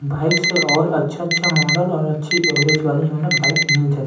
bike से और अच्छा-अच्छा मॉडल और अच्छी अवरेज बाइक हमन ल मिल ज--